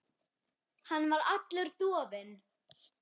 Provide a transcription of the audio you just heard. Hann var allur dofinn.